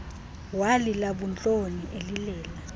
walila buntloni elilela